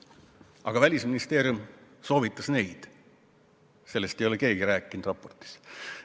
Aga Välisministeerium soovitas neid, sellest ei ole raportis keegi midagi rääkinud.